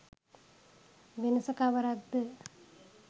වෙනස කවරක්ද